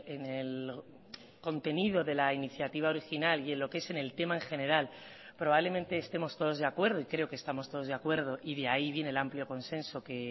en el contenido de la iniciativa original y en lo que es en el tema en general probablemente estemos todos de acuerdo y creo que estamos todos de acuerdo y de ahí viene el amplio consenso que